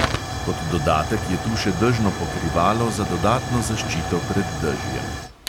Kot dodatek je tu še dežno pokrivalo za dodatno zaščito pred dežjem.